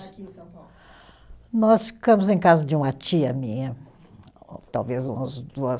Aqui em São Paulo. Nós ficamos em casa de uma tia minha, talvez umas duas